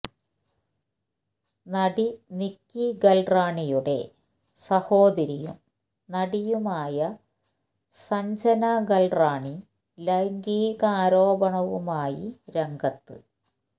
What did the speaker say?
നടി നിക്കി ഗൽറാണിയുടെ സഹോദരിയും നടിയുമായ സഞ്ജന ഗൽറാണി ലൈംഗികാ രോപണവുമായി രംഗത്ത്